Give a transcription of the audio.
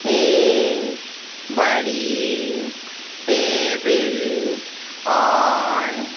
एक बड़ी टेबिल और --